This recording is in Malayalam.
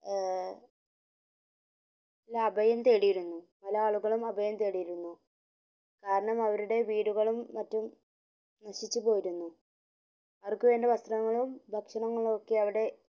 ഏർ അഭയം തേടിയിരുന്നു പല ആളുകളും അഭയം തേടിയിരുന്നു കാരണം അവരുടെ വീടുകളും മറ്റും നശിച്ചു പോയിരുന്നു അവര്ക് വേണ്ട വസ്ത്രങ്ങളും ഭക്ഷണങ്ങളും ഒക്കെ അവിടെ